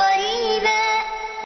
قَرِيبًا